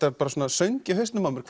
söng í hausnum á mér